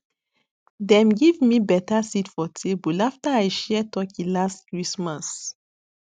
dem give me betta seat for table after i share turkey last christmas